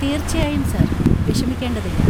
തീർച്ചയായും സർ, വിഷമിക്കേണ്ടതില്ല.